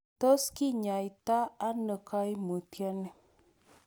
Tos kinyaita ono koimutioni?